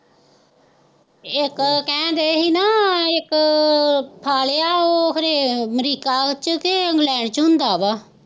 ਇੱਕ ਕਹਿਣ ਡੇ ਸੀ ਨਾ, ਇੱਕ ਖਾ ਲਿਆ ਉਹ ਖਨੇ ਅਮਰੀਕਾ ਚ ਕਿ ਇੰਗਲੈਂਡ ਚ ਹੁੰਦਾ ਵਾ